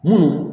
Mun